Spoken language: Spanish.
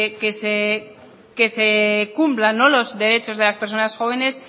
que se cumplan los derechos de las personas jóvenes